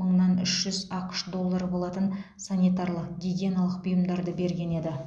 мыңнан үш жүз ақш доллары болатын санитарлық гигиеналық бұйымдарды берген еді